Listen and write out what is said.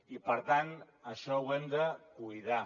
i per tant això ho hem de cuidar